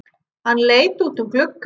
Hann leit út um gluggann.